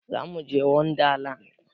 Zamuje wanda land